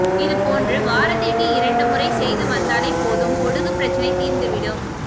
இது போன்று வாரத்திற்கு இரண்டு முறை செய்து வந்தாலே போதும் பொடுகு பிரச்சனை தீர்ந்து விடும்